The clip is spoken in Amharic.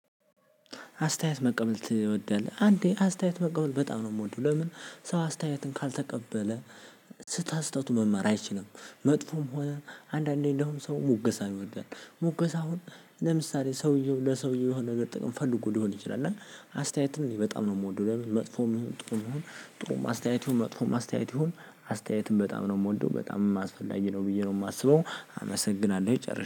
አስተያየት መቀበል ትወዳለህ አንዴ አስተያየት መቀበል በጣም ነው የምወደው። ለምን ሰው አስተያየትን ካልተቀበለ ተስህተቱ መመር አይችልም። መጥፎም ሆነ አንዳንዴ እንደውም ሰው ሙገሳን ይወዳል። ሞገሳ አሁን ለምሳሌ ሰውየው ለሰውየው የሆነ ነገር ጥቅም ፈልጎ ሊሆን ይችላል። እና አስተያየትን በጣም ነው የምወደው። ለምን መጥፎም ይሁን ጥሩም ይሁን ጥሩም አስተያየት ይሁን መጥፎም አስተያየት ይሁን አስተያየትን በጣም ነው የምወደው። በጣምም አስፈላጊ ነው ብዬ ነው የማስበው። አመሰግናለሁ ጨርሳ